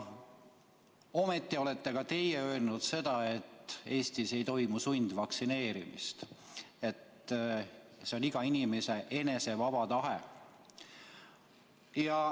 Ometi olete teie öelnud seda, et Eestis ei toimu sundvaktsineerimist ja vaktsineerimine lähtub iga inimese enese vabast tahtest.